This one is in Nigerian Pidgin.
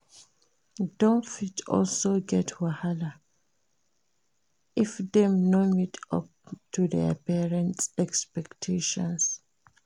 Dem fit also get wahala if dem no meet up to their parents expectation